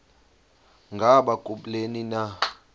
ngaba kubleni na